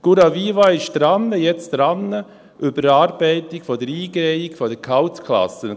Curaviva ist jetzt daran: Überarbeitung der Eingehung der Gehaltsklassen.